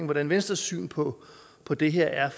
hvordan venstres syn på på det her